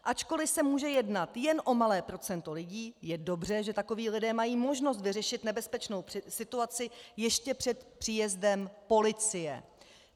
Ačkoliv se může jednat jen o malé procento lidí, je dobře, že takoví lidé mají možnost vyřešit nebezpečnou situaci ještě před příjezdem policie.